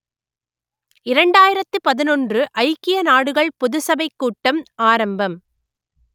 இரண்டாயிரத்து பதினொன்று ஐக்கிய நாடுகள் பொதுச் சபைக் கூட்டம் ஆரம்பம்